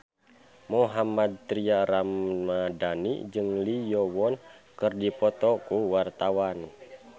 Mohammad Tria Ramadhani jeung Lee Yo Won keur dipoto ku wartawan